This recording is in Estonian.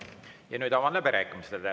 Ja nüüd avan läbirääkimised.